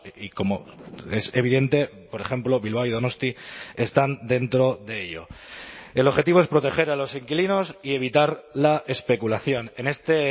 y como es evidente por ejemplo bilbao y donosti están dentro de ello el objetivo es proteger a los inquilinos y evitar la especulación en este